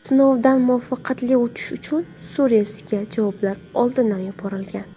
Sinovdan muvaffaqiyatli o‘tish uchun Suaresga javoblar oldindan yuborilgan.